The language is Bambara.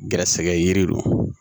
Gɛrɛsɛgɛ yiri don